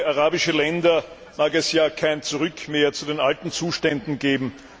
Für viele arabische Länder mag es ja kein Zurück mehr zu den alten Zuständen geben.